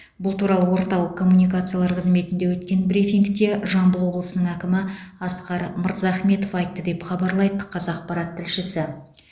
бұл туралы орталық коммуникациялар қызметінде өткен брифингте жамбыл облысының әкімі асқар мырзахметов айтты деп хабарлайды қазақпарат тілшісі